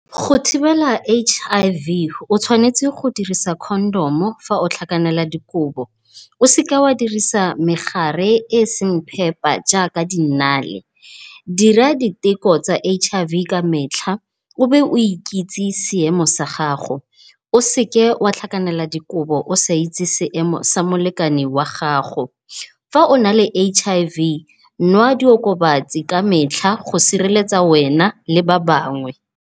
Go thibela H_I_V o tshwanetse go dirisa condom-o ga o tlhakanela dikobo. O seke wa dirisa megare e e seng phepa jaaka dinnale. Dira di teko tsa H_I_V ka metlha obe o ikitsise seemo sa gago. O seke wa tlhakanela dikobo o sa itse seemo sa molekane wa gago. Fa o na le H_I_V nwa di okobatsi ka metlha go sireletsa wena le ba bangwe.